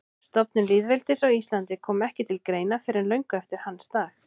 Stofnun lýðveldis á Íslandi kom ekki til greina fyrr en löngu eftir hans dag.